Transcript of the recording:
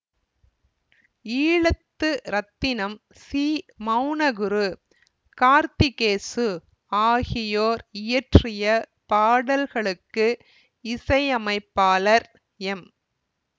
ஈழத்து ரத்தினம் சி மெளனகுரு கார்த்திகேசு ஆகியோர் இயற்றிய பாடல்களுக்கு இசை அமைப்பாளர் எம்